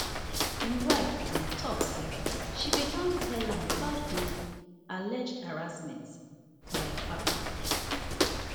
im wifeand tok say she bin don tell am about di alleged harassment by akpabio